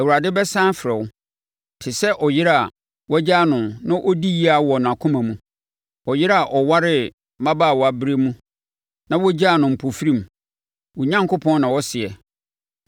Awurade bɛsane afrɛ wo te sɛ ɔyere a woagyaa no na ɔdi yea wɔ nʼakoma mu, ɔyere a ɔwaree mmabaawaberɛ mu na wogyaa no mpofirim,” wo Onyankopɔn na ɔseɛ.